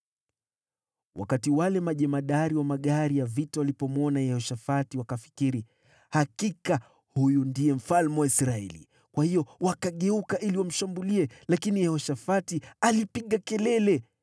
Wakati wale majemadari wa magari ya vita walipomwona Yehoshafati wakafikiri, “Hakika huyu ndiye mfalme wa Israeli.” Kwa hiyo wakageuka ili wamshambulie, lakini Yehoshafati akapiga kelele,